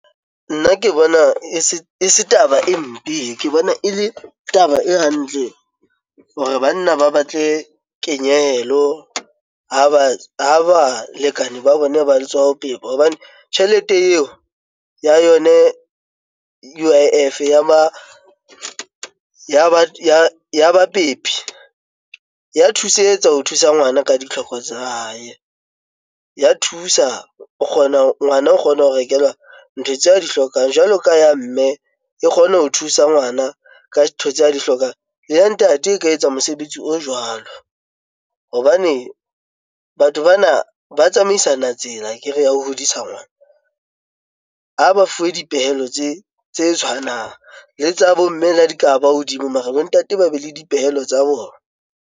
Nna ke bona e se taba e mpe. Ke bona ele taba e hantle hore banna ba batle kenyehelo ha balekane ba bona ba tswa ho pepa hobane tjhelete eo ya yona U_I_F ya bapepi ya thusetsa ho thusa ngwana ka ditlhoko tsa hae. Ya thusa, o kgona, ngwana o kgona ho rekelwa ntho tseo a di hlokang. Jwalo ka ya mme, e kgona ho thusa ngwana ka tse a di hlokang. Ya ntate e ka etsa mosebetsi o jwalo hobane batho bana ba tsamaisana tsela akere ya ho hodisa ngwana. Ha ba fuwe dipehelo tse tshwanang, le tsa bo mme la di ka ba hodimo mare bo ntate ba be le dipehelo tsa bona.